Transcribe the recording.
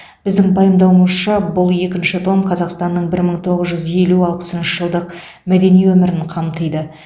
біздің пайымдауымызша бұл екінші том қазақстанның бір мың тоғыз жүз елу алпысыншы жылдық мәдени өмірін қамтиды